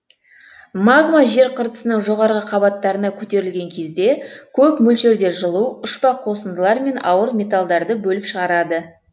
магма жер қыртысының жоғарғы қабаттарына көтерілген кезде көп мөлшерде жылу ұшпа қосындылар мен ауыр металдарды бөліп шығарады